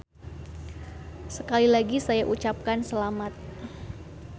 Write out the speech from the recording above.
Sekali lagi saya ucapkan selamat.